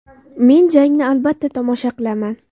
Men jangni, albatta, tomosha qilaman.